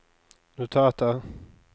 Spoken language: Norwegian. notater